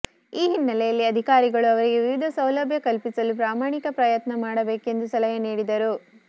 ಈ ಹಿನ್ನೆಲೆಯಲ್ಲಿ ಅಧಿಕಾರಿಗಳು ಅವರಿಗೆ ವಿವಿಧ ಸೌಲಭ್ಯ ಕಲ್ಪಿಸಲು ಪ್ರಾಮಾಣಿಕ ಪ್ರಯತ್ನ ಮಾಡಬೇಕೆಂದು ಸಲಹೆ ನೀಡಿದರು